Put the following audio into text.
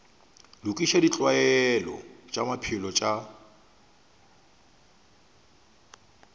lokiša ditlwaelo tša maphelo tša